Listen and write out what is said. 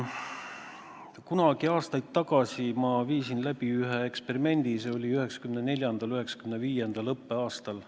Kunagi aastaid tagasi ma viisin läbi ühe eksperimendi, see oli 1994/95. õppeaastal.